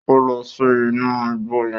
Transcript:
O lọ sínú ìgbò yẹn